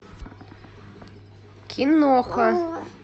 киноха